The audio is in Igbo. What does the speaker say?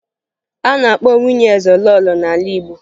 A na-akpọ nwunye eze lọọlọ n'ala Igbo